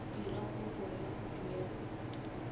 dira kopo ya go duela